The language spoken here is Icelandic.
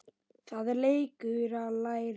Það er leikur að læra